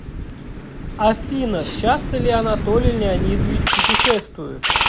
афина часто ли анатолий леонидович путешествует